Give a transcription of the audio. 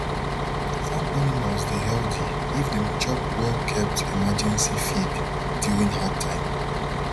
farm animals dey healthy if dem chop well kept emergency feed during hard time